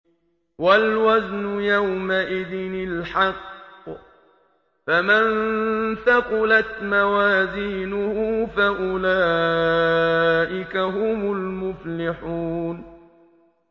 وَالْوَزْنُ يَوْمَئِذٍ الْحَقُّ ۚ فَمَن ثَقُلَتْ مَوَازِينُهُ فَأُولَٰئِكَ هُمُ الْمُفْلِحُونَ